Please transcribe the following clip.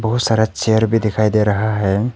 बहुत सारा चेयर भी दिखाई दे रहा है।